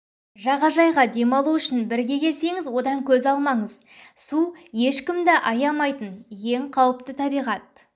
жағажайға демалу үшін бірге келсеңіз одан көз алмаңыздар су ешкімді аямайтын өте қауіпті табиғат